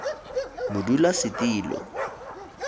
modulasetulo